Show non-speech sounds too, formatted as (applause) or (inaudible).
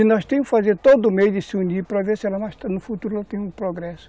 E nós temos que fazer todo mês de se unir para ver se (unintelligible) no futuro nós temos progresso.